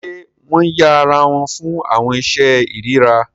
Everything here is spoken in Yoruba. Ṣe wọn yẹ'ra fún awọn iṣe irira?